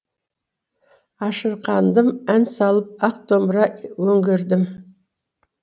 ашырқандым ән салып ақ домбыра өңгердім